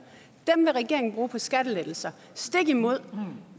dem vil regeringen bruge på skattelettelser stik imod